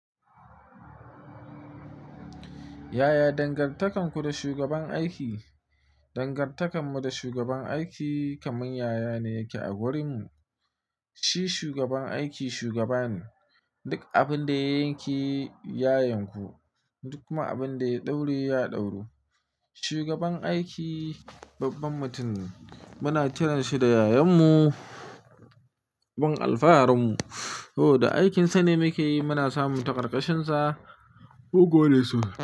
Yaya dangantakarku da shugaban aiki? Dangantakarmu da shugaban aiki kamar yaya ne yake a gurinmu. Shi shugaban aiki shugaba ne. Duk abin da ya yanke yayanku, duk kuma abin da ya ɗaure ya ɗauru. Shugaban aiki babban mutum ne. Muna kiranshi da yayanmu, babban alfaharinmu. Da aikinsa ne muke yi muna samun ta ƙarƙashinsa. Bugole sunan.